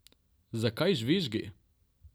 Zakaj žvižgi?